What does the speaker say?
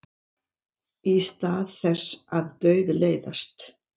Í stað þess að dauðleiðast.